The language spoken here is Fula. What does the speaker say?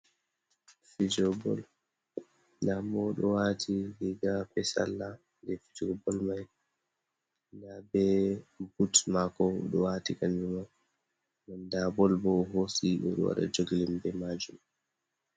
Fijowo bol, ndamu oɗo wati riga be salla ɗe fijowo bol mai, nda be but mako oɗo wati kanjuma, nda bol bo ohosi ɓeɗo waɗa joglim be majum.